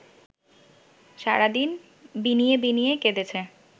সারাদিন বিনিয়ে বিনিয়ে কেঁদেছে